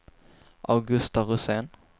Augusta Rosén